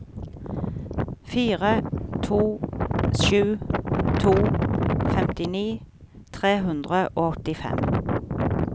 fire to sju to femtini tre hundre og åttifem